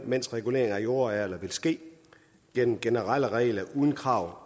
mens reguleringen af jordarealer vil ske gennem generelle regler uden krav